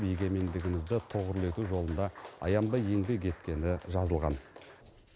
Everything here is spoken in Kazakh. егемендігімізді тұғырлы ету жолында аянбай еңбек еткені жазылған